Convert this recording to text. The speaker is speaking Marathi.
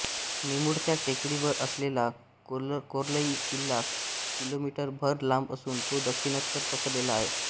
निमुळत्या टेकडीवर असलेला कोर्लई किल्ला किलोमीटर भर लांब असून तो दक्षिणोत्तर पसरलेला आहे